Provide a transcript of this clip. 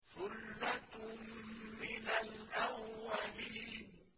ثُلَّةٌ مِّنَ الْأَوَّلِينَ